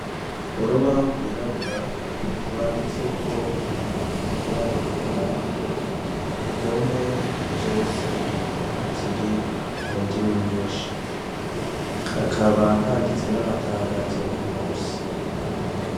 Urubaho rwirabura rwanditse ko nibearagera indome zose ziri mu ndimi nyinshi hakaba handitse n'amatangazi abiri musi.